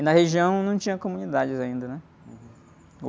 E na região, não tinha comunidades ainda, né?